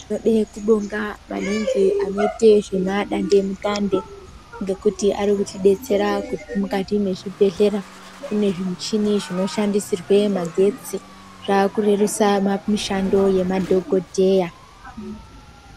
Tinode kubonga maningi vanoita zvemadande mutande ngekuti varikuti detsera mukati mwezvibhedhlera kune zvimuchini zvinoshandise magetsi zvakurerusa mishando yemadhokodheya.